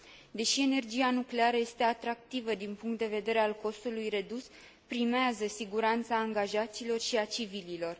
Deși energia nucleară este atractivă din punct de vedere al costului redus, primează siguranța angajaților și a civililor.